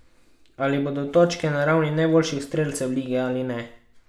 Ali bodo točke na ravni najboljših strelcev lige ali ne?